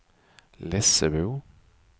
Lessebo